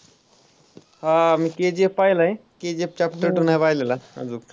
हां मी KGF पाहिलाय KGF chapter two नाही पाहिलेला अजून.